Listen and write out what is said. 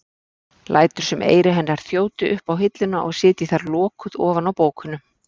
Lætur sem eyru hennar þjóti upp á hilluna og sitji þar lokuð ofan á bókunum.